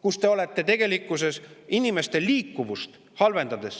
halvendades ka nende liikuvust.